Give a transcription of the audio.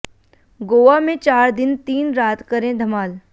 गोवा में चार दिन तीन रात करें धमाल